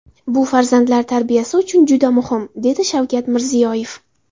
Bu farzandlar tarbiyasi uchun juda muhim, - dedi Shavkat Mirziyoyev.